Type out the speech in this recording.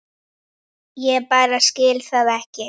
Ég bara skil það ekki.